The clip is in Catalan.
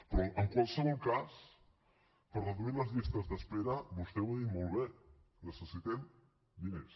però en qualsevol cas per reduir les llistes d’espera vostè ho ha dit molt bé necessitem diners